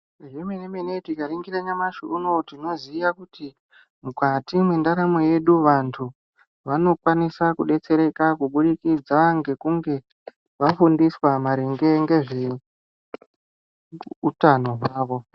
Zvemene mene tikaringira nyamashi unouyu tinoziya kuti mukati mendaramo yedu, vantu vanokwanisa kudetsereka kubudikidza ngekunge vafundiswa maringe ngezvehutano hwavo.